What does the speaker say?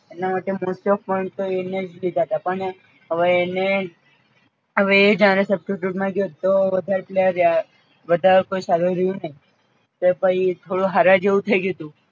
એટલે most of point તો એણે જ લીધા તા પણ હવે એને હવે એ જ્યારે substitute માં ગયો તો વધારે કેટલા રયા વધાર કોઈ સારું રયૂ નઇ તો પછી થોડું હાર્યા જેવુ થઈ ગ્યુંતૂ એટલા માટે